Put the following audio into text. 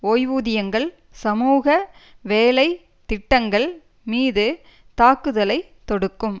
ஓய்வூதியங்கள் சமூக வேலை திட்டங்கள் மீது தாக்குதலை தொடுக்கும்